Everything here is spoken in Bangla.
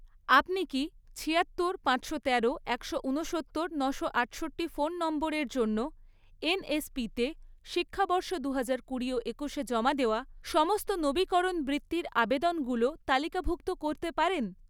আপনি কি ছিয়াত্তর, পাঁচশো তেরো, একশো উনসত্তর, নশো আটষট্টি ফোন নম্বরের জন্য এনএসপিতে শিক্ষাবর্ষ দুহাজার কুড়ি ও একুশে জমা দেওয়া সমস্ত নবীকরণ বৃত্তির আবেদনগুলো তালিকাভুক্ত করতে পারেন?